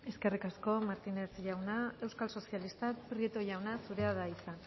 eskerrik asko eskerrik asko martínez jauna euskal sozialistak prieto jauna zurea da hitza